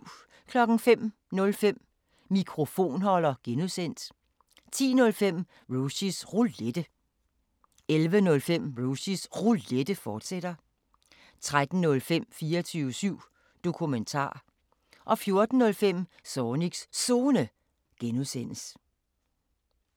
05:05: Mikrofonholder (G) 10:05: Rushys Roulette 11:05: Rushys Roulette, fortsat 13:05: 24syv Dokumentar 14:05: Zornigs Zone (G)